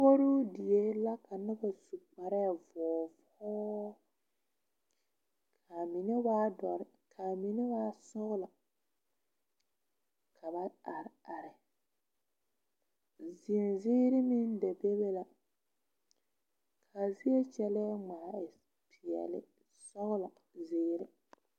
Puoruu die la ka noba su kpare vɔɔvɔɔ ka a mine waa dɔre ka mine waa sɔglɔ ka ba are are zenziiri meŋ da be be la ka a zie kyɛlee ŋmaa e peɛle sɔglɔ zeere.